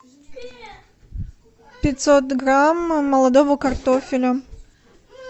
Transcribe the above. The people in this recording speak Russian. пятьсот грамм молодого картофеля